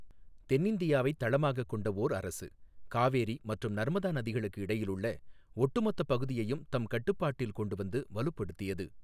தென்னிந்தியாவைத் தளமாகக் கொண்ட ஓர் அரசு, காவேரி மற்றும் நர்மதா நதிகளுக்கு இடையிலுள்ள ஒட்டுமொத்தப் பகுதியையும் தம் கட்டுப்பாட்டில் கொண்டுவந்து வலுப்படுத்தியது.